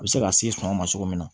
A bɛ se ka se sɔngɔn ma cogo min na